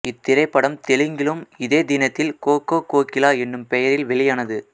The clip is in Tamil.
இத்திரைப்படம் தெலுங்கிலும் இதே தினத்தில் கொ கொ கோகிலா எனும் பெயரில் வெளியானது